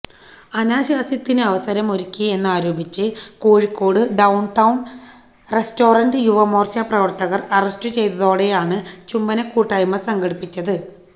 അനാശാസ്യത്തിന് അവസരമൊരുക്കി എന്നാരോപിച്ച് Kozhikode downtown restaurant Yuva Morcha പ്രവർത്തകർ അറസ്റ്റു ചെയ്തതോടെയാണ് ചുംബനകൂട്ടായ്മ സംഘടിപ്പിച്ചത്